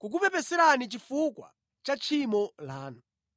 kukupepeserani chifukwa cha tchimo lanu.”